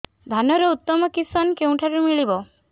ଧାନର ଉତ୍ତମ କିଶମ କେଉଁଠାରୁ ମିଳିବ